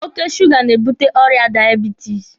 Oke suuga na-ebute ọrịa daiebitisi.